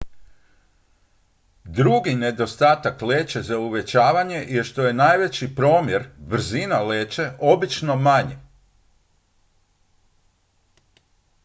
drugi nedostatak leće za uvećavanje je što je najveći promjer brzina leće obično manji